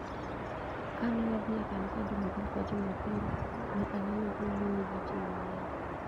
Kane wadhi e kanisa Jumapil ka Jumapil, ne anene kowuoyo gi ji mang'eny.